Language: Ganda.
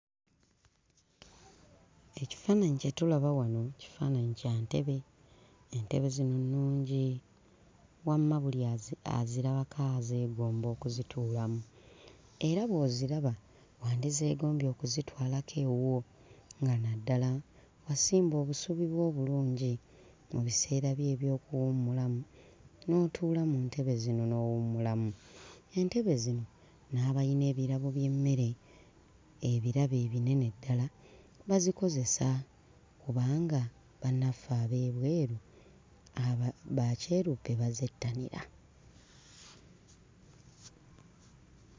Ekifaananyi kye tulaba wano kifaananyi kya ntebe, entebe zino nnungi wamma buli azi azirabako azeegomba okuzituulamu era bw'oziraba wandizeegombye okuzitwalako ewuwo nga naddala wansimba obusubi bwo obulungi. Mu biseera byo eby'okuwummulamu n'otuula mu ntebe zino n'owummulamu. Entebe zino n'abayina ebirabo by'emmere, ebirabo ebinene ddala bazikozesa kubanga bannaffe ab'ebweru aba bakyeruppe bazettanira.